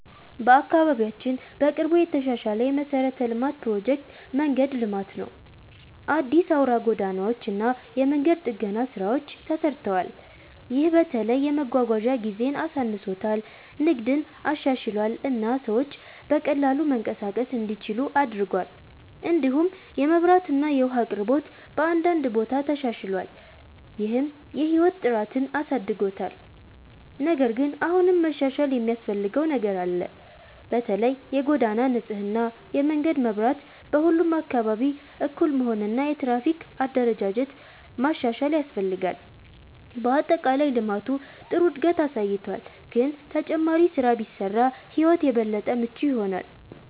በአካባቢያችን በቅርቡ የተሻሻለ የመሠረተ ልማት ፕሮጀክት መንገድ ልማት ነው። አዲስ አውራ ጎዳናዎች እና የመንገድ ጥገና ስራዎች ተሰርተዋል። ይህ በተለይ የመጓጓዣ ጊዜን አሳንሶታል፣ ንግድን አሻሽሏል እና ሰዎች በቀላሉ መንቀሳቀስ እንዲችሉ አድርጓል። እንዲሁም የመብራት እና የውሃ አቅርቦት በአንዳንድ ቦታ ተሻሽሏል፣ ይህም የህይወት ጥራትን አሳድጎታል። ነገር ግን አሁንም መሻሻል የሚያስፈልገው ነገር አለ። በተለይ የጎዳና ንጽህና፣ የመንገድ መብራት በሁሉም አካባቢ እኩል መሆን እና የትራፊክ አደረጃጀት ማሻሻል ያስፈልጋል። በአጠቃላይ ልማቱ ጥሩ እድገት አሳይቷል፣ ግን ተጨማሪ ስራ ቢሰራ ሕይወት የበለጠ ምቹ ይሆናል።